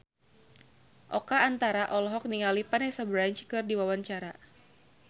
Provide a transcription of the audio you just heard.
Oka Antara olohok ningali Vanessa Branch keur diwawancara